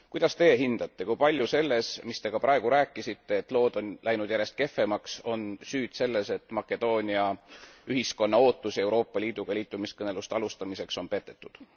Kuidas Teie hindate, kui palju on selles, mis Te ka praegu rääkisite et lood on läinud järjest kehvemaks süüd selles, et Makedoonia ühiskonna ootusi Euroopa Liiduga liitumiskõneluste alustamiseks on petetud?